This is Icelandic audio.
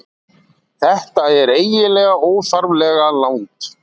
Þetta er eiginlega óþarflega langt.